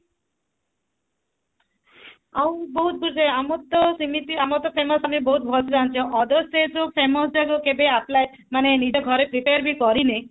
ଆଉ ବହୁତ ଆମର ର ତ ସେମିତି ଆମର ତ famous ଆମେ ବହୁତ ଭଲସେ ଜାଣିଛ other state ର ଯୋଉ famous ଯାକ କେବେ apply ମାନେ ନିଜ ଘରେ କେବେ prepare ବି କରିନେ